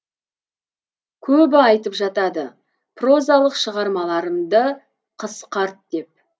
көбі айтып жатады прозалық шығармаларымды қысқарт деп